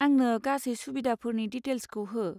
आंनो गासै सुबिदाफोरनि डिटेल्सखौ हो।